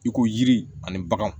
I ko yiri ani bagan